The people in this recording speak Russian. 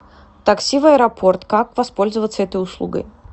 такси в аэропорт как воспользоваться этой услугой